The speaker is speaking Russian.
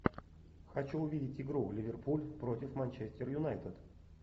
хочу увидеть игру ливерпуль против манчестер юнайтед